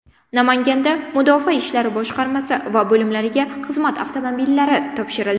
Namanganda mudofaa ishlari boshqarmasi va bo‘limlariga xizmat avtomobillari topshirildi .